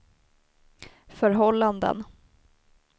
förhållanden